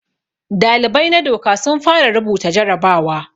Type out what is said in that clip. Dalibai na doka sun fara rubuta jarabawa.